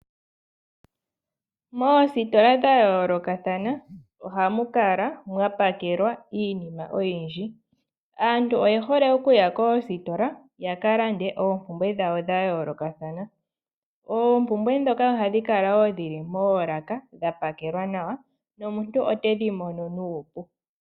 Mositola dha yoolokathana ohamu kala mwapakelwa iinima oyindji. Aantu oye hole okuya koositola yaka lande oompumbwe dhawo dhayoolokathana. Oompumbwe ndhoka ohadhi kala wo dhili moolaka dhapakela nawa nomuntu otedhi mono nuupu .